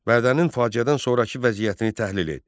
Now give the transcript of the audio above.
Bərdənin faciədən sonrakı vəziyyətini təhlil et.